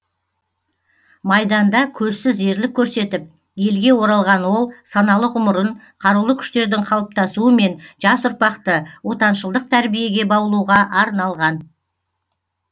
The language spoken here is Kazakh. майданда көзсіз ерлік көрсетіп елге оралған ол саналы ғұмырын қарулы күштердің қалыптасуы мен жас ұрпақты отаншылдық тәрбиеге баулуға арналған